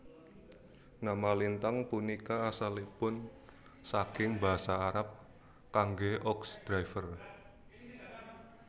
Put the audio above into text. Nama lintang punika asalipun saking basa Arab kangge ox driver